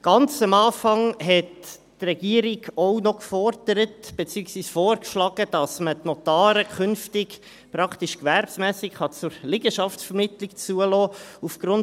Ganz am Anfang forderte beziehungsweise schlug die Regierung auch noch vor, dass man die Notare künftig praktisch gewerbsmässig zur Liegenschaftsvermittlung zulassen könne.